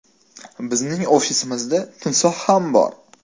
Bizning ofisimizda timsoh ham bor!